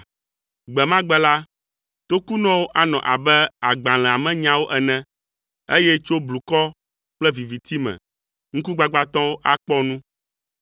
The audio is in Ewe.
Gbe ma gbe la, tokunɔwo anɔ abe agbalẽa me nyawo ene, eye tso blukɔ kple viviti me, ŋkugbagbãtɔwo akpɔ nu.